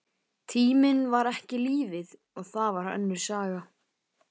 Tíminn var ekki lífið, og það var önnur saga.